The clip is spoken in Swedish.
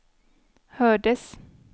hördes